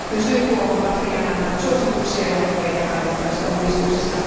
Myös YK on vastikään antanut suosituksia ja ohjeita tarvittavista uudistuksista.